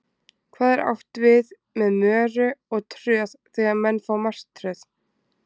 Hvað er átt við með möru og tröð þegar menn fá martröð?